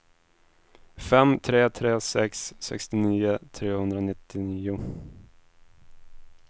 fem tre tre sex sextionio trehundranittionio